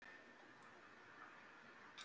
Sunna Sæmundsdóttir: Hvað er það við íslenskuna?